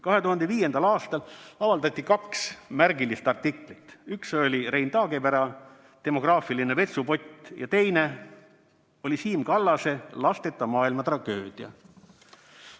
2005. aastal avaldati kaks märgilist artiklit: üks oli Rein Taagepera "Demograafiline vetsupott" ja teine oli Siim Kallase "Lasteta maailma tragöödia".